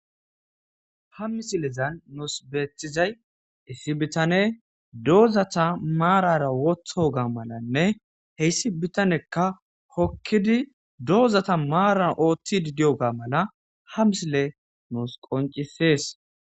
Ha misilezan nuus beethizay issi bitane doozata maarara wotho ga malanne heyssi bitanekka hokkidi doozata maaran ooththidi di'o ga mala ha misile nuus qoncisees.